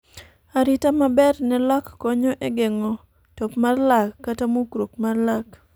arita maber ne lak konyo e geng'o top mar lak kata mukruok mar lak